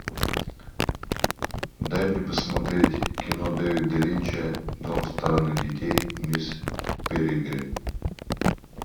дай мне посмотреть кино дэвида линча дом странных детей мисс перегрин